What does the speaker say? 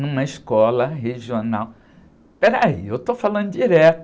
Numa escola regional... Espera aí, eu estou falando direto.